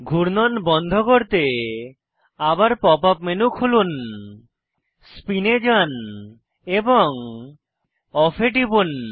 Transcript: ঘূর্ণন বন্ধ করতে আবার পপ আপ মেনু খুলুন স্পিন এ যান এবং অফ এ টিপুন